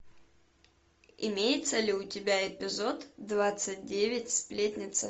имеется ли у тебя эпизод двадцать девять сплетница